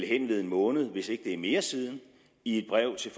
hen ved en måned hvis ikke det er mere siden i et brev til